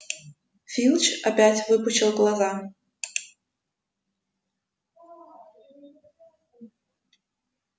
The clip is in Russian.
филч опять выпучил глаза